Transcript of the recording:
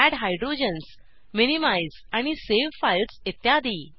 add hydrogens minimise आणि save files इत्यादी